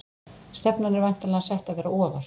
Stefnan er væntanlega sett að vera ofar?